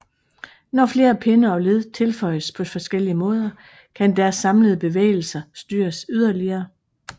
Når flere pinde og led tilføjes på forskellige måder kan deres samlede bevægelser styres yderligere